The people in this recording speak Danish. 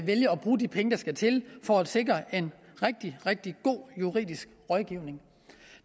bruge de penge der skal til for at sikre en rigtig rigtig god juridisk rådgivning